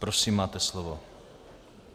Prosím, máte slovo.